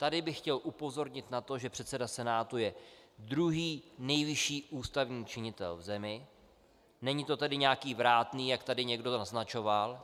Tady bych chtěl upozornit na to, že předseda Senátu je druhý nejvyšší ústavní činitel v zemi, není to tedy nějaký vrátný, jak tady někdo naznačoval.